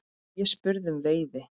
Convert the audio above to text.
Ég spurði um veiði.